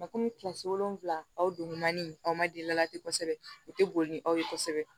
kɔmi kilasi wolonvila aw don naani aw ma den ladi kosɛbɛ u te boli ni aw ye kosɛbɛ